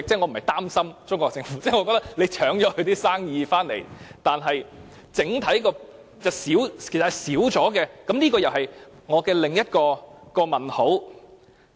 我不是擔心中國政府，我覺得本港搶去了它的生意，整體上是減少了，這又是我的另一個問題。